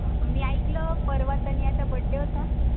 मी आयकल परवा तनयाचा बर्थडे होता